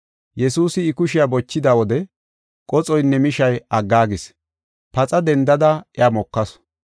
Yesuusi I kushiya bochida wode qoxoynne mishay aggaagis. Paxa dendada iya mokasu.